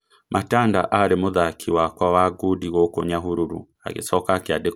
"Matanda aarĩ mũthaki wakwa wa ngundi gũkũ Nyahururu, agĩcoka akĩandĩkwo wĩra nĩ borithi".